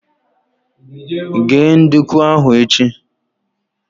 Ghee nduku ahu echi!